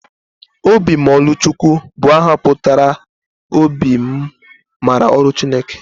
Obimmaọlụchukwu bụ aha pụtara 'obi m maara ọrụ Chineke.